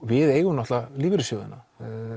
við eigum náttúrulega lífeyrissjóðina